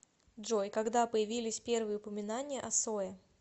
джой когда появились первые упоминания о сое